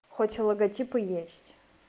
хоть логотипы есть